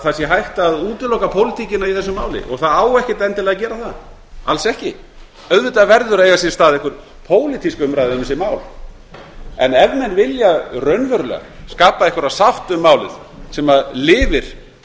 sé hægt að útiloka pólitíkina í þessu máli og það á ekkert endilega að gera það alls ekki auðvitað verður að eiga sér stað einhver pólitísk umræða um þessi mál en ef menn vilja raunverulega skapa einhverja sátt um málið sem lifir